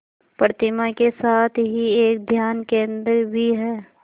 प्रतिमा के साथ ही एक ध्यान केंद्र भी है